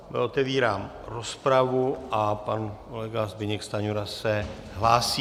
Otevírám rozpravu a pan kolega Zbyněk Stanjura se hlásí.